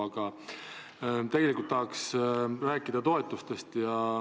Aga tegelikult tahaks rääkida toetustest.